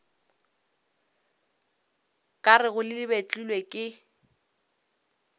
ka rego le betlilwe ke